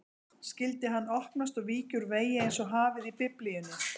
Skyldi hann opnast og víkja úr vegi einsog hafið í Biblíunni?